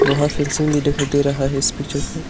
वह फेंसिंग भी दिखाई दे रहा है इस पिक्चर में --